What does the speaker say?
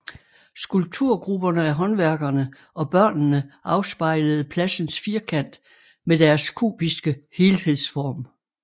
Skulpturgrupperne af håndværkerne og børnene afspejlede pladsens firkant med deres kubiske helhedsform